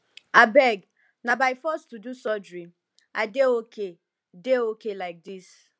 abeg na by force to do surgery i dey okay dey okay like dis